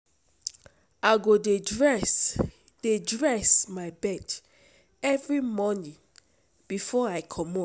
I go dey dress dey dress my bed every morning before I comot.